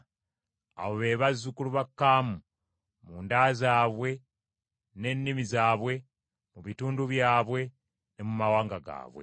Abo be bazzukulu ba Kaamu, mu nda zaabwe ne nnimi zaabwe, mu bitundu byabwe ne mu mawanga gaabwe.